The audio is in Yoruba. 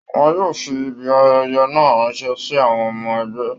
Wọ́n yóò fi Ibi ayẹyẹ náà ránṣẹ́ sí àwọn ọmọ ẹgbẹ́